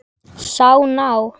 Sá ná